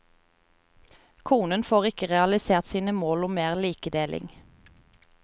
Konen får ikke realisert sine mål om mer likedeling.